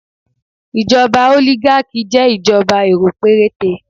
Ìjọba oligarchy jẹ́ ìjọba èrò péréte